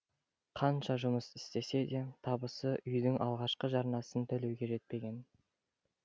қанша жұмыс істесе де табысы үйдің алғашқы жарнасын төлеуге жетпеген